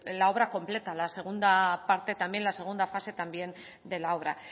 la obra completa la segunda fase también de la obra